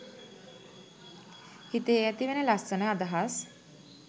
හිතේ ඇතිවෙන ලස්සන අදහස්